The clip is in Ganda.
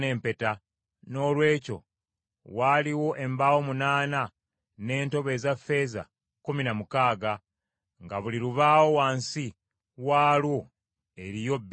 Noolwekyo waaliwo embaawo munaana, n’entobo eza ffeeza kkumi na mukaaga, nga buli lubaawo wansi waalwo eriyo bbiri bbiri.